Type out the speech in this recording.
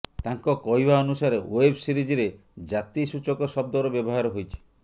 ତାଙ୍କ କହିବା ଅନୁସାରେ ୱେବ ସିରିଜରେ ଜାତିସୂଚକ ଶବ୍ଦର ବ୍ୟବହାର ହୋଇଛି